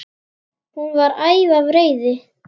Hún var æf af reiði.